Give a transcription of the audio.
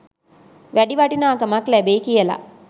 වැඩි වටිනාකමක් ලැබෙයි කියලා?